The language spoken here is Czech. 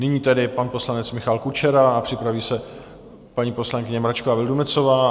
Nyní tedy pan poslanec Michal Kučera a připraví se paní poslankyně Mračková Vildumetzová.